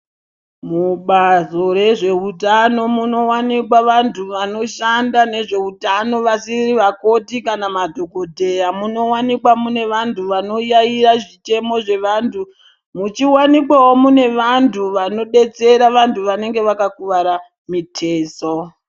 Mubazi rezvehutano munowanikwa antu anoshanda nezvehutano vasiri Makoti kana madhokodheya munowanikwa mune vantu vanoyayeya zvichemo zvevantu muchiwanikwawo mune vantu vanodetsera vantu vanenge vakakuwara mitezo.